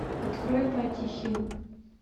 открой патти хилл